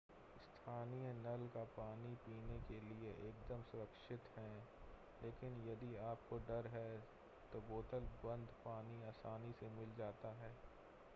स्थानीय नल का पानी पीने के लिए एकदम सुरक्षित है लेकिन यदि आपको डर है तो बोतल बंद पानी आसानी से मिल जाता है